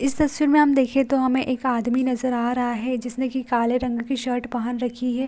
इस तस्वीर में आप देखिये तो हमें एक आदमी नजर आ रहा है जिसने की काले रंग की शर्ट पहन रखी है।